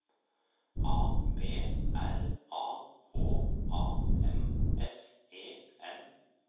A B R A H A M S E N